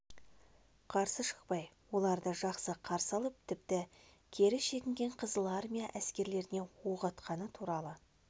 қарсы шықпай оларды жақсы қарсы алып тіпті кері шегінген қызыл армия әскерлеріне оқ атқаны туралы